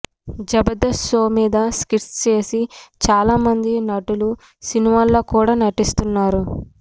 Jabardasth show మీద skits చేసి చాలా మంది నటులు సినిమాల్లో కూడా నటిస్తున్నారు